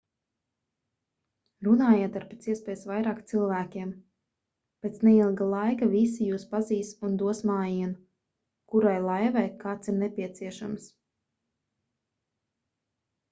runājiet ar pēc iespējas vairāk cilvēkiem pēc neilga laika visi jūs pazīs un dos mājienu kurai laivai kāds ir nepieciešams